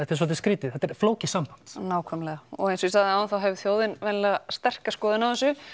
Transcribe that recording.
er svolítið skrítið þetta er flókið samband nákvæmlega og eins og ég sagði áðan þá hefur þjóðin venjulega sterka skoðun á þessu